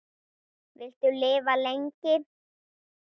Viltu lifa lengi?